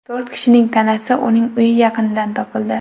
To‘rt kishining tanasi uning uyi yaqinidan topildi.